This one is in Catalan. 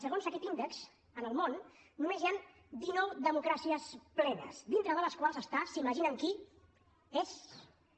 segons aquest índex en el món només hi han dinou democràcies plenes dintre de les quals hi ha s’imaginen qui es